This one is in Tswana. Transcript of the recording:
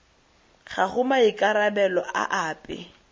ga go maikarabelo a ape